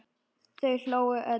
Þau hlógu öll.